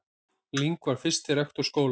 Ling var fyrsti rektor skólans.